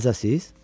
Təzəsiz?